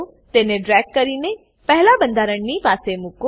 તેને ડ્રેગ કરીને પહેલા બંધારણની પાસે મુકો